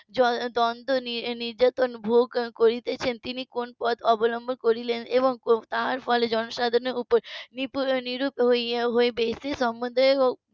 দ্বন্দ্ব নির্যাতন ভোগ করিতেছেন তিনি কোন পথ অবলম্বন করিলেন এবং তার ফলে জনসাধারণের উপর বিরূপ হইয়া বেশি সম্মন্ধের উপর